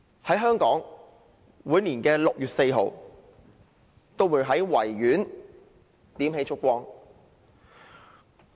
在香港，每年6月4日在維多利亞公園也會點起燭光。